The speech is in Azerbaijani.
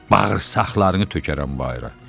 Bağırsaqlarını tökərəm bayıra.